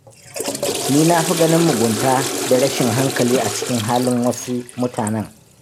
Ni na fi ganin mugunta da rashin hankali a cikin halin wasu mutanen.